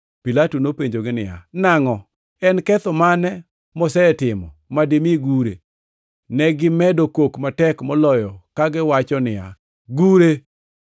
Pilato nopenjogi niya, “Nangʼo? En ketho mane mosetimo madimi gure?” To negimedo kok matek moloyo kagiwacho niya, “Gure!”